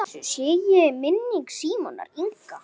Blessuð sé minning Símonar Inga.